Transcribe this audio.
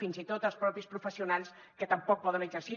fins i tot els propis professionals que tampoc poden exercir